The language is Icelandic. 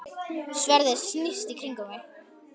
Sverðið snýst í kringum mig.